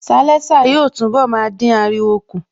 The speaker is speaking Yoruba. Sialésà yóò túnbọ̀ máa dín ariwo kù